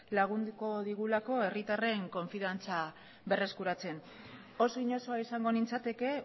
lagunduko digulako herritarren konfidantza berreskuratzen oso inozoa izango nintzateke